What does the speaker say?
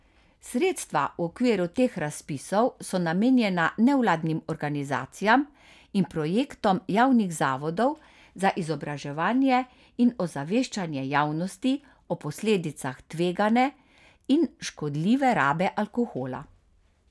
Sredstva v okviru teh razpisov so namenjena nevladnim organizacijam in projektom javnih zavodov za izobraževanje in ozaveščanje javnosti o posledicah tvegane in škodljive rabe alkohola.